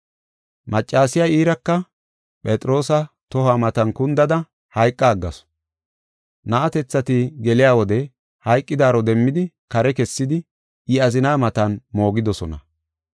Maccasiya iiraka Phexroosa tohuwa matan kundada hayqa aggasu; na7atethati geliya wode hayqidaaro demmidi kare kessidi, I azina matan moogidosona.